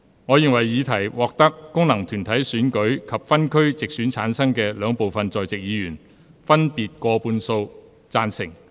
我認為議題獲得經由功能團體選舉產生及分區直接選舉產生的兩部分在席議員，分別以過半數贊成。